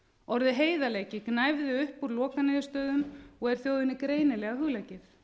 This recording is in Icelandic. orðið heiðarleiki gnæfði upp úr lokaniðurstöðum og er þjóðinni greinilega hugleikið